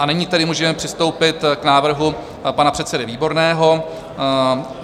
A nyní tedy můžeme přistoupit k návrhu pana předsedy Výborného.